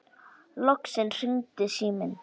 Loksins hringdi síminn.